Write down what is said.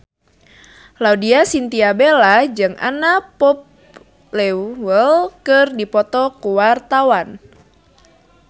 Laudya Chintya Bella jeung Anna Popplewell keur dipoto ku wartawan